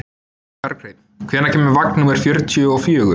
Berghreinn, hvenær kemur vagn númer fjörutíu og fjögur?